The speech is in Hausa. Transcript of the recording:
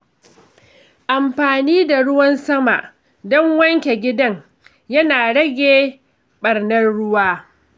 Amfani da ruwan sama don wanke gidan yana rage ɓarnar ruwa.